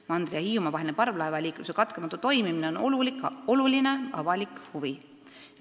" Mandri ja Hiiumaa vaheline parvlaevaliikluse katkematu toimine on oluline avalik huvi.